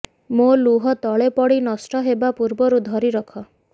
ମୋ ଲୁହ ତଳେ ପଡ଼ି ନଷ୍ଟ ହେବା ପୂର୍ବରୁ ଧରିରଖ